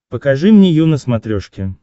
покажи мне ю на смотрешке